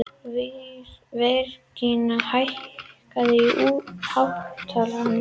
Virginía, hækkaðu í hátalaranum.